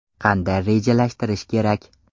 Qanday rejalashtirish kerak?